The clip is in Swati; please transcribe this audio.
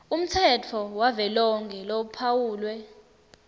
umtsetfo wavelonkhe lophawulwe